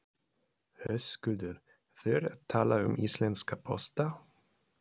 Höskuldur: Þú ert að tala um íslenska pósta?